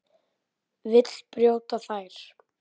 Vill brjóta þær.